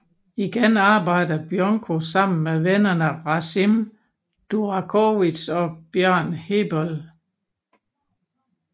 Igen arbejder Bjonko sammen med vennerne Rasim Durakovic og Bjørn Heebøll